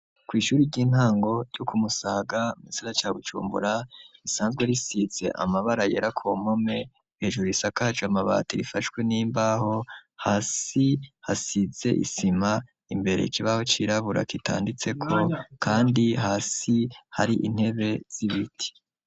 Kw'ishuri ry'intango ryo ku Musaga mugisagara ca Bujumbura, risanzwe risize amabara yera kumpome, hejuru isakaje amabati, rifashwe n'imbaho, hasi hasize isima, imbere ikibaho cirabura kitanditseko, kandi hasi har'intebe z'ibiti.